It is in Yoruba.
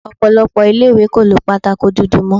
Ọ̀pọ̀lọpọ̀ ilé-ìwé kò lo pátákó dúdú mó.